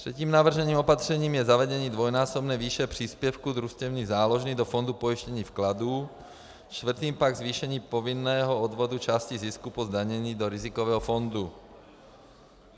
Třetím navrženým opatřením je zavedení dvojnásobné výše příspěvku družstevní záložny do Fondu pojištění vkladů, čtvrtým pak zvýšení povinného odvodu části zisku po zdanění do rizikového fondu.